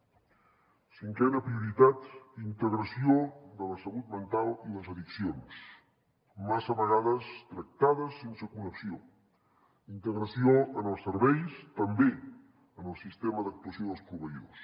cinquena prioritat integració de la salut mental i les addiccions massa vegades tractades sense connexió integració en els serveis també en el sistema d’actuació dels proveïdors